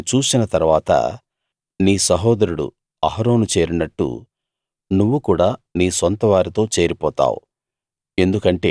నువ్వు దాన్ని చూసిన తరువాత నీ సహోదరుడు అహరోను చేరినట్టు నువ్వు కూడా నీ సొంతవారితో చేరిపోతావు